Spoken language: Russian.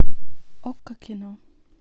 окко кино